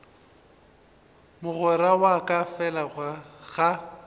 mogwera wa ka fela ga